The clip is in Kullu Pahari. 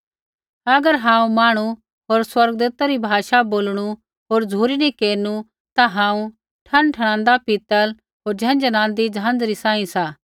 अगर हांऊँ मांहणु होर स्वर्गदूतै री भाषा बोलणु होर झ़ुरी नी केरनु ता हांऊँ ठनठणांदा पीतल होर झनझणादी झंझरी सांही सा